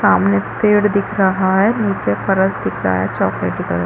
सामने पेड़ दिख रहा है नीचे फरश दिख रहा है चॉकलेटी कलर --